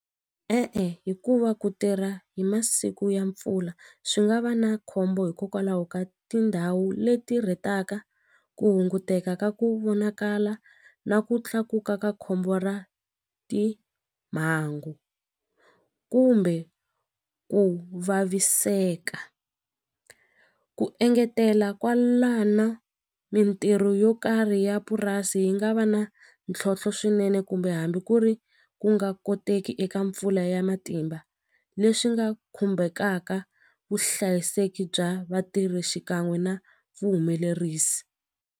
E-e, hikuva ku tirha hi masiku ya mpfula swi nga va na khombo hikokwalaho ka tindhawu leti rhetaka ku hunguteka ka ku vonakala na ku tlakuka ka khombo ra timhangu kumbe ku vaviseka ku engetela kwalano mintirho yo karhi ya purasi yi nga va na ntlhontlho swinene kumbe hambi ku ri ku nga koteki eka mpfula ya matimba leswi nga khumbhekaka vuhlayiseki bya vatirhi xikan'we na vuhumelerisi.